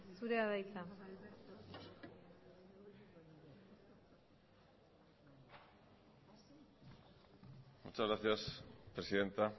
zurea da hitza muchas gracias presidenta